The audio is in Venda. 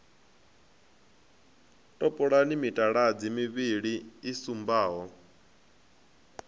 topolani mitaladzi mivhili i sumbaho